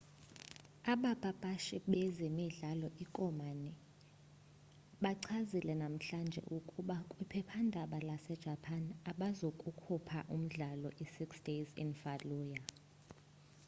abapapashi bezemidlalo i-konami bachazile namhlanje ukuba kwiphephandaba lase-japan abazukukhupha umdlalo i-six days in fallujah